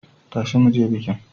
Tashi mu je bikin!